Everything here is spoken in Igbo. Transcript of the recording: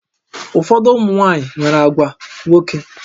Ụfọdụ ụmụ nwaanyị nwere àgwà nwoke